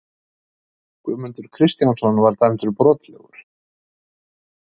Guðmundur Kristjánsson var dæmdur brotlegur.